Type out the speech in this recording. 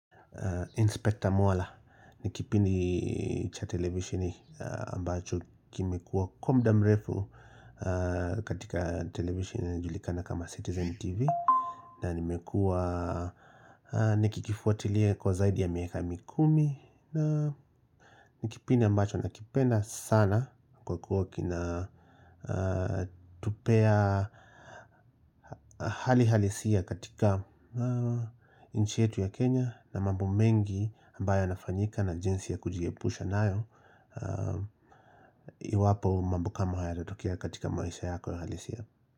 Inspector Mwala ni kipindi cha televisheni ambacho kimekuwa kwa muda mrefu katika televisheni inayojulikana kama Citizen TV na nikikifuatilia kwa zaidi ya miaka mikumi na ni kipindi ambacho nakipedna sana kwa kuwa kinatupea hali halisia katika nchi yetu ya Kenya na mambo mengi ambayo yanafanyika na jinsi ya kujiepusha nayo Iwapo mambo kama haya yatatokea katika maisha yako ya halisia.